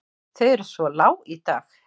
Þau eru svo lág í dag.